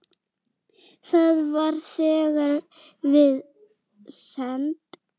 Það var þegar við send